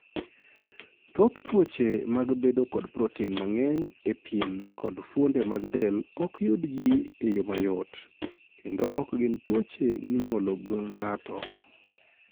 Thoth tuoche mag bedo kod proten mang'eny e pien kod fuonde mag del ok yud ji e yo mayot, kendo ok gin tuoche minyuolo gi ng'ato.